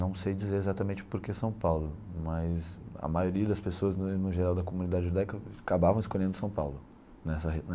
Não sei dizer exatamente porque São Paulo, mas a maioria das pessoas no no geral da comunidade judaica acabavam escolhendo São Paulo nessa